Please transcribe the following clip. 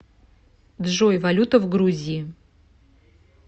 джой валюта в грузии